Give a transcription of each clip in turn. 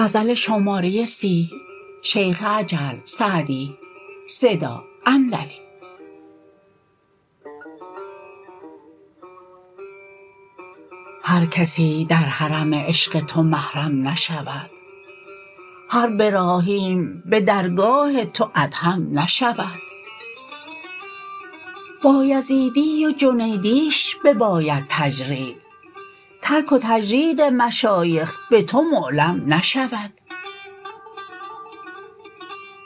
هر کسی در حرم عشق تو محرم نشود هر براهیم به درگاه تو ادهم نشود بایزیدی و جنیدیش بباید تجرید ترک و تجرید مشایخ به تو معلم نشود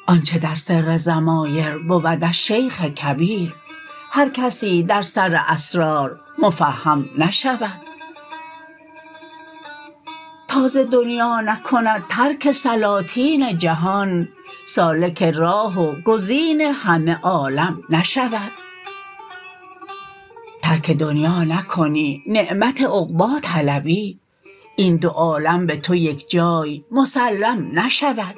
آنچه در سر ضمایر بودش شیخ کبیر هر کسی در سر اسرار مفهم نشود تا ز دنیا نکند ترک سلاطین جهان سالک راه و گزین همه عالم نشود ترک دنیا نکنی نعمت عقبی طلبی این دو عالم به تو یکجای مسلم نشود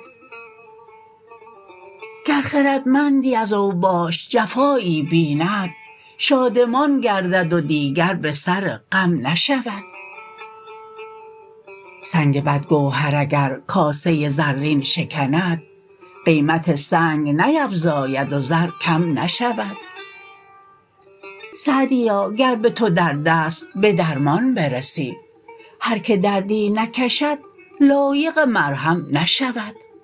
گر خردمندی از اوباش جفایی بیند شادمان گردد و دیگر به سر غم نشود سنگ بدگوهر اگر کاسه زرین شکند قیمت سنگ نیفزاید و زر کم نشود سعدیا گر به تو درد است به درمان برسی هر که دردی نکشد لایق مرهم نشود